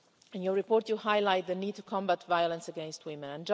In your report you highlight the need to combat violence against women.